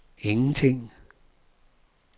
ingenting